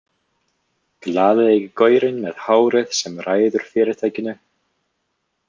Glaðlegi gaurinn með hárið sem ræður fyrirtækinu.